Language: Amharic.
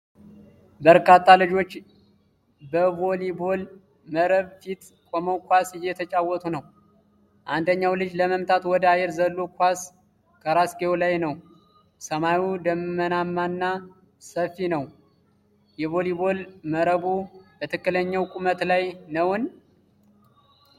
በርካታ ልጆች በቮሊቦል መረብ ፊት ቆመው ኳስ እየተጫወቱ ነው። አንደኛው ልጅ ለመምታት ወደ አየር ዘሎ ኳሱ ከራስጌው ላይ ነው። ሰማዩ ደመናማና ሰፊ ነው። የቮሊቦል መረቡ በትክክለኛው ቁመት ላይ ነውን ?